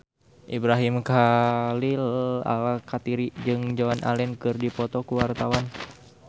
Ibrahim Khalil Alkatiri jeung Joan Allen keur dipoto ku wartawan